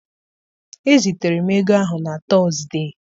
Ezitere m ego ahụ na Tọzdee.